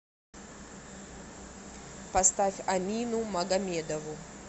поставь амину магомедову